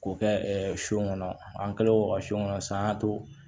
K'o kɛ sun kɔnɔ an kɛlen don ka son kɔnɔ san y'a to